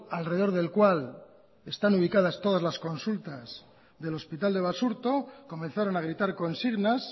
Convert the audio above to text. alrededor del cual están ubicadas todas las consultas del hospital de basurto comenzaron a gritar consignas